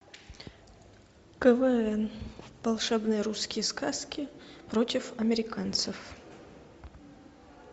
квн волшебные русские сказки против американцев